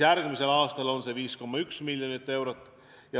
Järgmisel aastal on see 5,1 miljonit eurot.